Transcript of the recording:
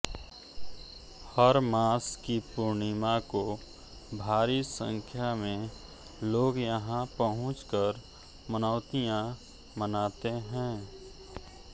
हर मास की पूर्णिमा को भारी संख्या में लोग यहां पहुंचकर मनौतियां मनाते हैं